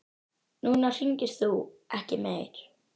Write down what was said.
Núna hringir þú ekki meir.